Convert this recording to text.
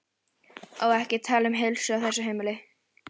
Ó, ekki tala um heilsu á þessu heimili.